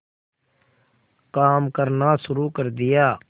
काम करना शुरू कर दिया